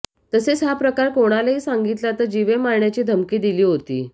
तसेच हा प्रकार कोणालाही सांगितला तर जिवे मारण्याची धमकी दिली होती